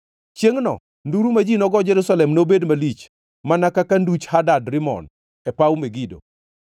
Chiengʼno nduru ma ji nogo Jerusalem nobed malich, mana ka nduch Hadad Rimon e paw Megido.